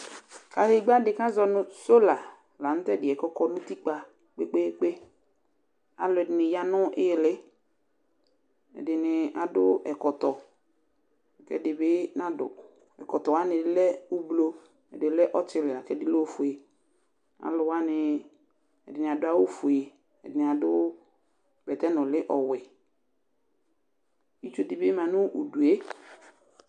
Kadegba dɩ kazɔ nʋ sola, la nʋ tɛdɩɛ kɔkɔ n' utikpǝ kpekpekpe Alʋ ɛdɩnɩ ya nʋ ɩɣɩlɩ,ɛdɩnɩ adʋ ɛkɔtɔ, ɛdɩ bɩ nadʋ Ɛkɔtɔ wanɩ lɛ : ublu, ɛdɩ lɛ ɔtɩlɩ lakɛdɩ lɛ ofue Alʋ wanɩ, ɛdɩnɩ adʋ awʋ fue, ɛdɩnɩ adʋ bɛtɛnʋlɩ ɔwɛ Itsu dɩ bɩ ma nʋ udue